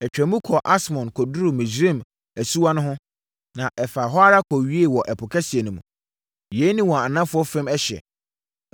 Ɛtwaam kɔɔ Asmon kɔduruu Misraim asuwa no ho, na ɛfaa ho ara kɔwiee wɔ ɛpo kɛseɛ no mu. Yei ne wɔn anafoɔ fam ɛhyeɛ.